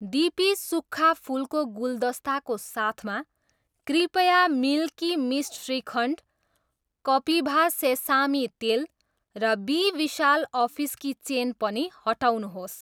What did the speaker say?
DP सुक्खा फुलको गुलदस्ता को साथमा, कृपया मिल्की मिस्ट श्रीखण्ड, कपिभा सेसामी तेल र बी विशाल अफिस की चेन पनि हटाउनुहोस्।